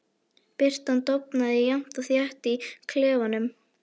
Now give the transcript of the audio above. Birtan dofnaði jafnt og þétt í klefanum.